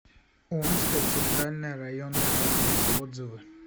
омская центральная районная больница отзывы